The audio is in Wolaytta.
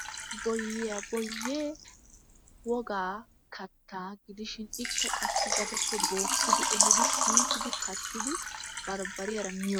Boyyiyaa, boyyee wogaa kattaa gudishin qassi gadeppe bookkidi ehiidi piittidi kattidi barbbariyaara miyo..